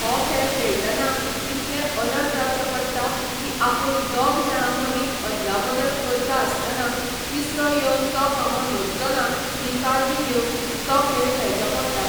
हो खेळ खेळटना इतलें अलर्ट रावचें पडटा की आपूण दोग जाणां मदीं अदला बदल करता आसतना तिसरो येवन तो खांबो धरचो ना ही काळजी घेवन तो खेळ खेळचो पडटा